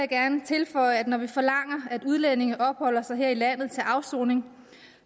gerne tilføje at når vi forlanger at udlændinge opholder sig her i landet til afsoning